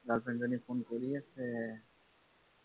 girlfriend জনী phone কৰিয়েই আছে